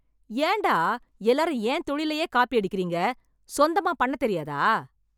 ஏன்டா எல்லாரும் என் தொழிலையே காப்பி அடிக்கிறீங்க, சொந்தமா பண்ண தெரியாதா?